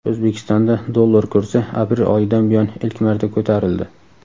O‘zbekistonda dollar kursi aprel oyidan buyon ilk marta ko‘tarildi.